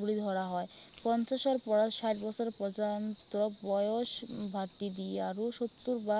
বুলি ধৰা হয়। পঞ্চাশৰ পৰা ষাঠী বছৰ পৰ্যন্তক বয়স ভাটি দিয়া আৰু সত্তৰ বা